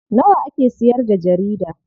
Nawa ake siyarda jarida?